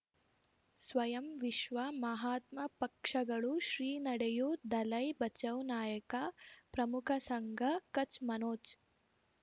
ಸ್ವಯಂ ವಿಶ್ವ ಮಹಾತ್ಮ ಪಕ್ಷಗಳು ಶ್ರೀ ನಡೆಯೂ ದಲೈ ಬಚೌ ನಾಯಕ ಪ್ರಮುಖ ಸಂಘ ಕಚ್ ಮನೋಜ್